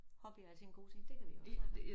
Hobbyer er altid en god ting det kan vi også snakke om